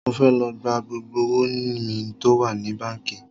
Mo fẹ́ lọ gba gbogbo owó mi tó wà ní báńkì